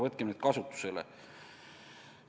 Võtkem need kasutusele!